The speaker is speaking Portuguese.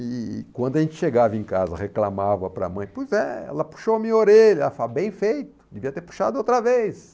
E quando a gente chegava em casa, reclamava para a mãe, pois é, ela puxou a minha orelha, ela fala, bem feito, devia ter puxado outra vez.